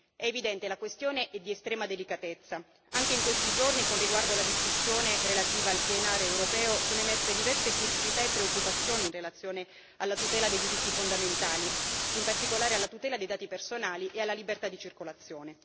È evidente, la questione è di estrema delicatezza anche in questi giorni, con riguardo alla discussione relativa al PNR europeo, sono emerse diverse criticità e preoccupazioni in relazione alla tutela dei diritti fondamentali, in particolare alla tutela dei dati personali e alla libertà di circolazione.